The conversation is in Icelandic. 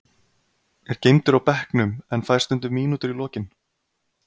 Er geymdur á bekknum en fær stundum mínútur í lokin.